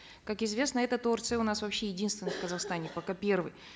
как известно этот орц у нас вообще единственный в казахстане пока первый